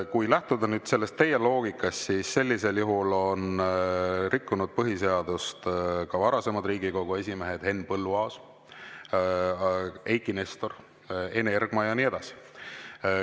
Kui lähtuda teie loogikast, siis sellisel juhul on rikkunud põhiseadust ka varasemad Riigikogu esimehed Henn Põlluaas, Eiki Nestor, Ene Ergma ja nii edasi.